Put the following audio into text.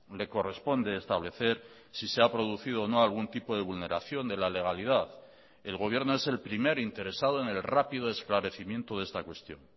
le corresponde establecer si se ha producido o no algún tipo de vulneración de la legalidad el gobierno es el primer interesado en el rápido esclarecimiento de esta cuestión